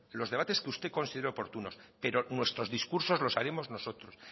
los debates que usted considere oportunos pero nuestros discursos los haremos nosotros